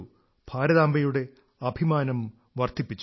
ഭാരതാംബയുടെ അഭിമാനം വർധിപ്പിച്ചു